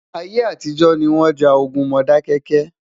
ayé àtijó ní wón já ogún Modákéké